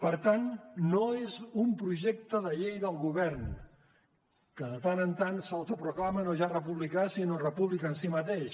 per tant no és un projecte de llei del govern que de tant en tant s’autoproclama no ja republicà sinó república en si mateix